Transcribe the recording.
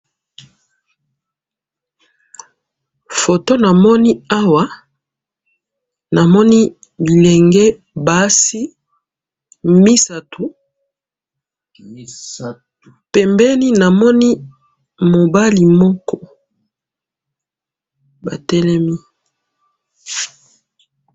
photo namoni awa namoni bilenge basi misatu pembeni namoni mobali moko batelemi